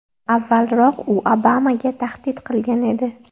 Avvalroq u Obamaga tahdid qilgan edi.